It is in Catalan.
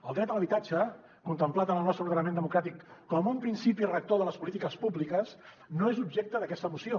el dret a l’habitatge contemplat en el nostre ordenament democràtic com un principi rector de les polítiques públiques no és objecte d’aquesta moció